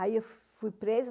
Aí eu fui presa.